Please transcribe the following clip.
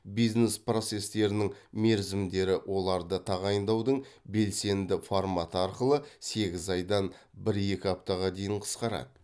бизнес процестерінің мерзімдері оларды тағайындаудың белсенді форматы арқылы сегіз айдан бір екі аптаға дейін қысқарады